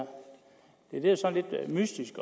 en ekspeditionssag det er sådan lidt mystisk